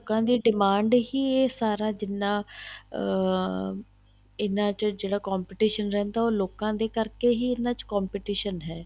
ਲੋਕਾਂ ਦੀ demand ਹੀ ਇਹ ਸਾਰਾ ਜਿੰਨਾ ਅਹ ਇਹਨਾ ਚ ਜਿਹੜਾ competition ਰਹਿੰਦਾ ਉਹ ਲੋਕਾਂ ਦੇ ਕਰਕੇ ਹੀ ਇਹਨਾ ਚ competition ਹੈ